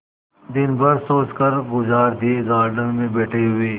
दिन भर सोचकर गुजार दिएगार्डन में बैठे हुए